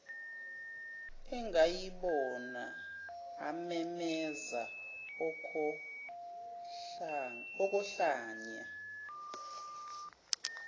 angayibona amemeze okohlanya